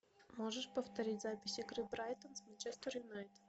можешь повторить запись игры брайтон с манчестер юнайтед